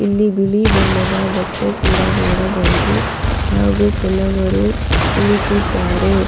ಇಲ್ಲಿ ಖಾಲಿ ಚೇರುಗಳು ಕೂಡ ಇದೆ.